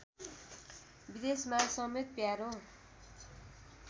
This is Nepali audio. विदेशमा समेत प्यारो